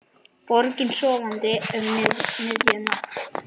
Borgin sofandi um miðja nótt.